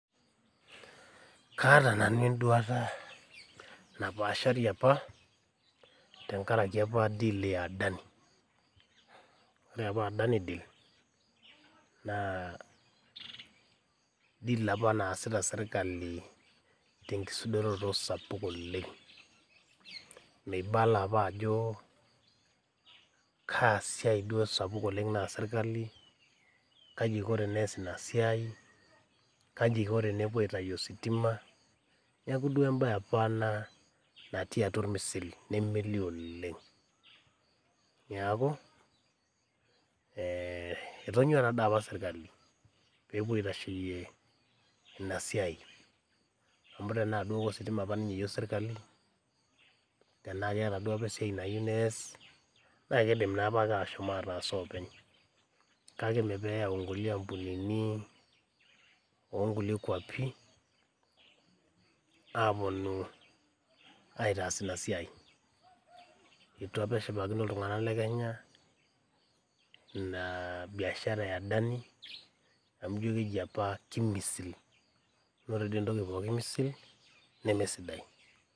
Kaata nanu enduata napaashari apa tengaraki apa deal e adani. O re apa adani deal naa deal apa naasita sirkali te nkisudoroto sapuk oleng, meibala apa ajokaa siai duo sapuk oleng naas sirkali, kaji eiko eneyas ina siai, kaji eiko tenepo aitayu esitima, neaku duo embaye apa ana natii atua ilmisili nemeilioo oleng. Naaku etonyua naa dei apa sirkali peepuo aitasheiye ina siai, amu tanaa duo ositima apa ninye eyu sirkali, tenaa keata apa siai nayeu neyas, naaa keidim naa apa ashom ataas oopeny, kake mee peeyau nkule ampunini oo nkule kwapii aaponu aitaas inia siai. Eitru aoa eshipakino ltungana le Kenya ina biashara e adani amu ijo keji apa temisili, naa ore apa entoki pooki emisili nemee siadai.